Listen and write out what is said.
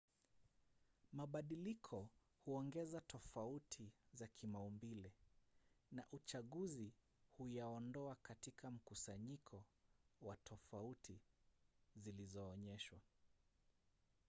mabadiliko huongeza tofauti za kimaumbile na uchaguzi huyaondoa katika mkusanyiko wa tofauti zilizoonyeshwa